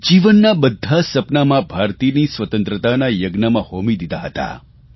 જીવનના બધાં સપનાં મા ભારતીની સ્વતંત્રતાના યજ્ઞમાં હોમી દીધાં હતાં